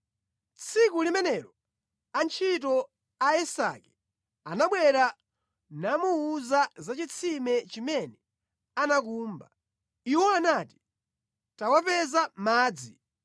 Tsiku limenelo, antchito a Isake anabwera namuwuza za chitsime chimene anakumba. Iwo anati, “Tawapeza madzi!”